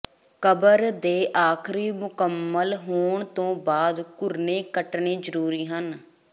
ਕਬਰ ਦੇ ਆਖ਼ਰੀ ਮੁਕੰਮਲ ਹੋਣ ਤੋਂ ਬਾਅਦ ਘੁਰਨੇ ਕੱਟਣੇ ਜ਼ਰੂਰੀ ਹਨ